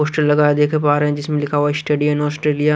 poster लगा हुआ है देख पा रहे जिसमें लिखा हुआ है स्टेडीयम ऑस्ट्रेलिया --